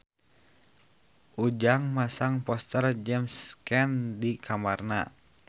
Ujang masang poster James Caan di kamarna